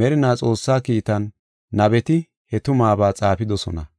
merinaa Xoossaa kiitan nabeti he tumabaa xaafidosona.